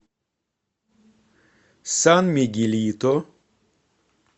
сан мигелито